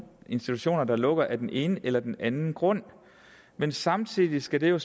institutioner der lukker af den ene eller den anden grund men samtidig skal det jo